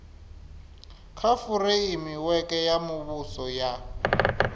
kha fureimiweke ya muvhuso ya